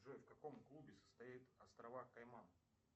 джой в каком клубе состоят острова кайман